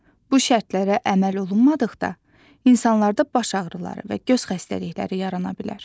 Bu şərtlərə əməl olunmadıqda, insanlarda baş ağrıları və göz xəstəlikləri yarana bilər.